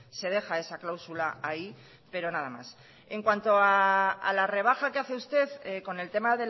se deja esa cláusula ahí pero nada más en cuanto a la rebaja que hace usted con el tema